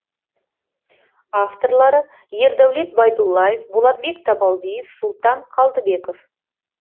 авторлары ердәулет байдуллаев болатбек табалдиев султан қалдыбеков